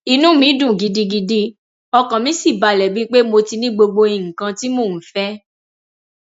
inú mi dùn gidigidi ọkàn mi sì balẹ bíi pé mo ti ní gbogbo nǹkan tí mò ń fẹ